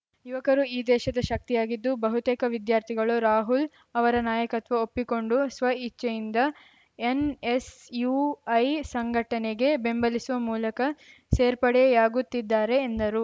ಯುವಕರು ಈ ದೇಶದ ಶಕ್ತಿಯಾಗಿದ್ದು ಬಹುತೇಕ ವಿದ್ಯಾರ್ಥಿಗಳು ರಾಹುಲ್‌ ಅವರ ನಾಯಕತ್ವ ಒಪ್ಪಿಕೊಂಡು ಸ್ವಇಚ್ಚೆಯಿಂದ ಎನ್‌ಎಸ್‌ಯುಐ ಸಂಘಟನೆಗೆ ಬೆಂಬಲಿಸುವ ಮೂಲಕ ಸೇರ್ಪಡೆಯಾಗುತ್ತಿದ್ದಾರೆ ಎಂದರು